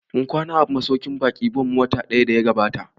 Mun kwana a masauƙin baƙin Bon watan da ya gabata